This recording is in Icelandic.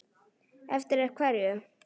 Eftir hverju?